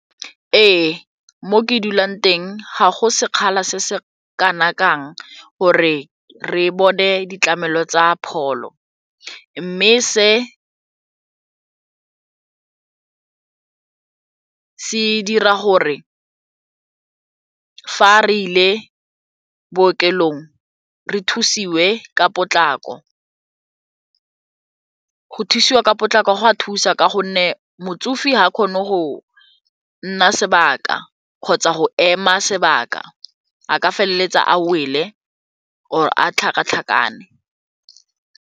Ee, mo ke dulang teng ga go sekgala se se kana kang gore re bone ditlamelo tsa pholo mme se se dira gore fa re ile bookelong re thusiwe ka potlako. Go thusiwa ka potlako go a thusa ka gonne motsofe ga a kgone go nna sebaka kgotsa go ema sebaka a ka feleletsa a wele or a tlhakatlhakane.